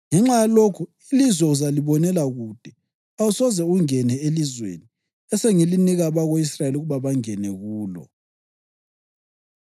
Ngenxa yalokho, ilizwe uzalibonela kude, awusoze ungene elizweni esengilinika abako-Israyeli ukuba bangene kulo.”